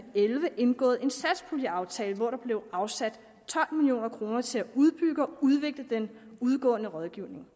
elleve indgået en satspuljeaftale hvor der blev afsat tolv million kroner til at udbygge og udvikle den udgående rådgivning